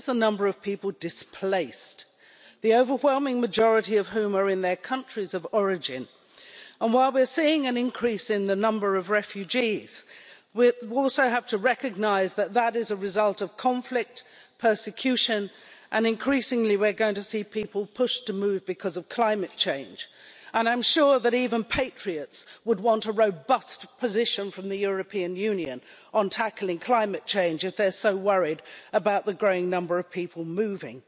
This is the number of people displaced, the overwhelming majority of whom are in their countries of origin. And while we are seeing an increase in the number of refugees we also have to recognise that that is a result of conflict, persecution and that increasingly we are going to see people pushed to move because of climate change, and I am sure that even patriots would want a robust position from the European Union on tackling climate change if they are so worried about the growing number of people moving.